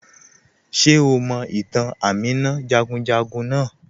Ṣe o mọ̀ itàn Àmìnà jagunjagun naà?